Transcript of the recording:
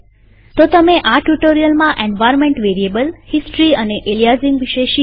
તો તમે આ ટ્યુ્ટોરીઅલમાં એન્વાર્નમેન્ટ વેરીએબલહિસ્ટરી અને એલીયાઝીંગ વિશે શીખ્યા